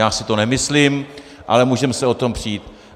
Já si to nemyslím, ale můžeme se o tom přít.